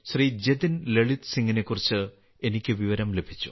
ജതിൻ ലളിത് സിംഗിനെക്കുറിച്ച് എനിക്ക് വിവരം ലഭിച്ചു